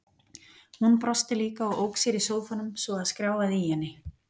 Hún brosti líka og ók sér í sófanum svo að skrjáfaði í henni.